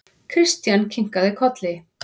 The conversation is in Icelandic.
Christian kinkaði kolli.